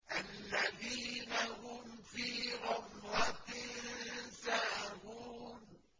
الَّذِينَ هُمْ فِي غَمْرَةٍ سَاهُونَ